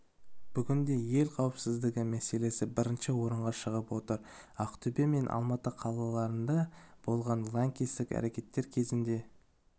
бүгінде ел қауіпсіздігі мәселесі бірінші орынға шығып отыр ақтөбе мен алматы қалаларында болған лаңкестік әрекеттер кезінде